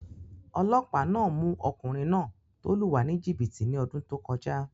Olọ́pàá náà mú ọkùnrin náà tó lù wá ní jìbìtì ní ọdún tó kọjá